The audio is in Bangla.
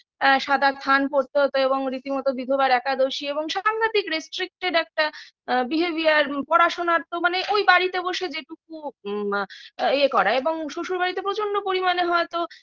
এ সাদা থান পরতে হতো এবং রীতিমতো বিধবার একাদশী এবং সাংঘাতিক restricted একটা আ behavior পড়াশোনার তো মানে ওই বাড়িতে বসে যেটুকু ইএ করা এবং শ্বশুরবাড়িতে প্রচন্ড পরিমানে হয়তো